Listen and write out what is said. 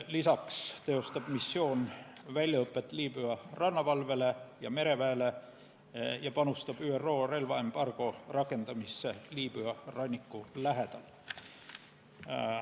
Lisaks teostab missioon väljaõpet Liibüa rannavalvele ja mereväele ning panustab ÜRO relvaembargo rakendamisse Liibüa ranniku lähedal.